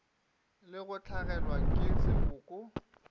le go hlagelwa ke seboko